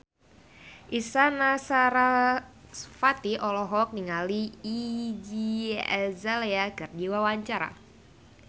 Isyana Sarasvati olohok ningali Iggy Azalea keur diwawancara